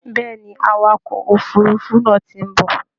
Bẹ́ẹ̀ ni, awakọ̀ òfurufú náà ti ń bọ̀